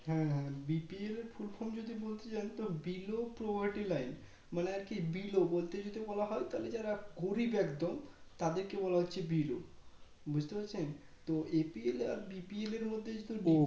হ্যাঁ হ্যাঁ BPLfull form যদি বলতে যাই Below Poverty Line মানে আর কি Below বলতে যদি বলা হয় তাহলে যারা গরিব একদম তাদেরকে বলা হচ্ছে Below বুঝতে পারছেন তো APL আর BPL এর মধ্যে যেহেতু